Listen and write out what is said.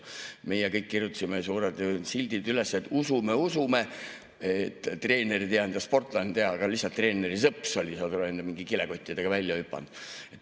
Meie kirjutasime suured sildid, et usume, usume, et treener ei teadnud ja sportlane ei teadnud, aga lihtsalt treeneri sõps oli, saad aru, mingite kilekottidega välja hüpanud.